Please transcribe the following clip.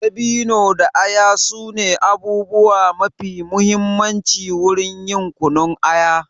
Dabino da aya su ne abubuwa mafi mahimmanci wurin yin kunun aya.